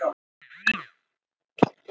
Mest gamlingjar í kringum hana.